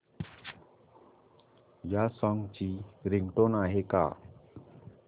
या सॉन्ग ची रिंगटोन आहे का